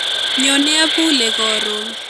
Nyone abule koron